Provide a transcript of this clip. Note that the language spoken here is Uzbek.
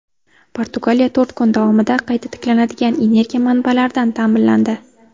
Portugaliya to‘rt kun davomida qayta tiklanadigan energiya manbalaridan ta’minlandi.